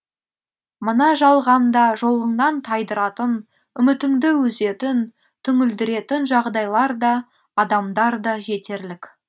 мына жалғанда жолыңнан тайдыратын үмітіңді үзетін түңілдіретін жағдайлар да адамдар да жетерлік